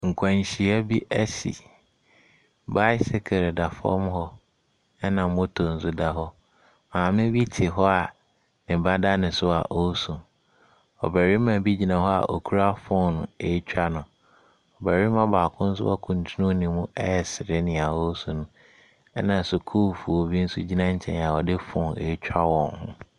Nkwanhyia bi asi. Bicycle da fam hɔ, ɛna motor nso da hɔ. Maame bi te hɔ a ɔba da ne so a ɔresu. Ɔbarima bi gyina hɔ a ɔkura phone retwa no. Barima baako nso akuntunu ne mu resere deɛ ɔresu no, ɛna asukuufoɔ bi nso gyina nkyɛn a wɔde phone retwa wɔn ho.